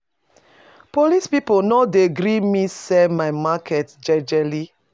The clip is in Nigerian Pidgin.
Police people no dey gree me sell my market jejely.